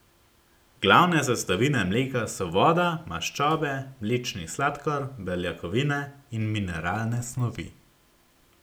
Glavne sestavine mleka so voda, maščobe, mlečni sladkor, beljakovine in mineralne snovi.